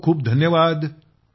खूप खूप धन्यवाद